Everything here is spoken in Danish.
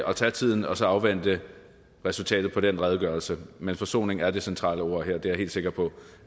at tage tiden og så afvente resultatet af den redegørelse men forsoning er det centrale ord her og det er jeg helt sikker på